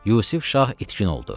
Yusuf Şah itkin oldu.